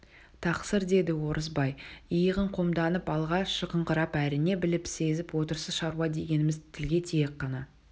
тақсыр деді орысбай иығын қомданып алға шығыңқырап әрине біліп сезіп отырсыз шаруа дегеніміз тілге тиек қана